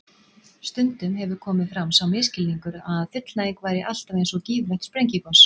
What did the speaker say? Stundum hefur komið fram sá misskilningur að fullnæging væri alltaf eins og gífurlegt sprengigos.